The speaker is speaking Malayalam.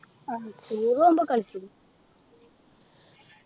ആഹ് tour പോകുമ്പോൾ കളിച്ചിന്